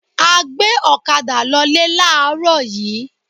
A gbé ọ̀kadà lolé láàárọ̀ yìí